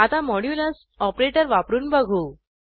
आता modulus operator वापरून बघू